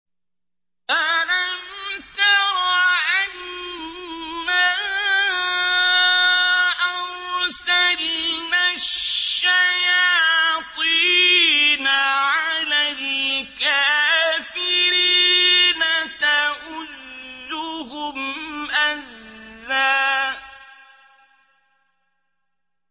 أَلَمْ تَرَ أَنَّا أَرْسَلْنَا الشَّيَاطِينَ عَلَى الْكَافِرِينَ تَؤُزُّهُمْ أَزًّا